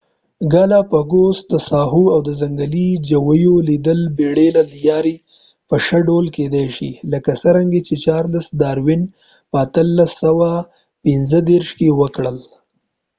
د ګالاپاګوس د ساحو او ځنګلي ژویو لیدل د بیړۍ له لیارې په شه ډول کیدای شي لکه څرنګه چې چارلس داروین په 1835 کې وکړل